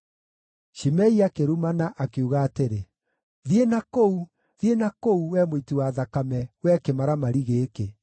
Shimei akĩrumana, akiuga atĩrĩ, “Thiĩ na kũu, thiĩ na kũu, wee mũiti wa thakame, wee kĩmaramari gĩkĩ!